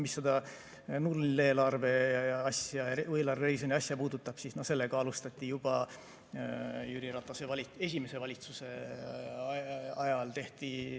Mis seda nulleelarve asja puudutab, siis sellega alustati juba Jüri Ratase esimese valitsuse ajal.